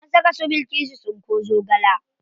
An saka su bilkisu tsinko zogale.